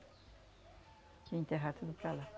Tinha enterrar tudo para lá.